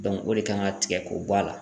o de kan ka tigɛ k'o bɔ a la.